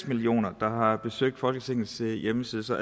millioner der har besøgt folketingets hjemmeside så